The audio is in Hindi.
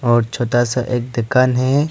और छोटा सा एक दुकान है।